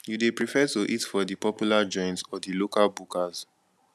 you dey prefer to eat for di popular joints or di local bukas